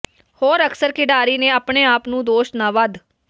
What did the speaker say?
ਹੋਰ ਅਕਸਰ ਖਿਡਾਰੀ ਨੇ ਆਪਣੇ ਆਪ ਨੂੰ ਦੋਸ਼ ਨਾ ਵੱਧ